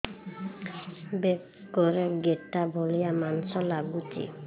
ବେକରେ ଗେଟା ଭଳିଆ ମାଂସ ଲାଗୁଚି